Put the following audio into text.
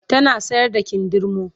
tana sayar da kindirmo